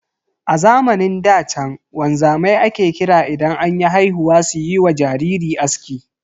A zamanin da chan wanzamai ake kira idan anyi haihuwa suyiwa jariri aski.